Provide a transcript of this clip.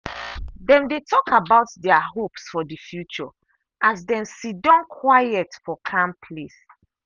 dem dey talk about their hopes for the future as dem siddon quiet for calm place.